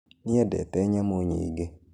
Nĩendete nyamũ nyingĩ.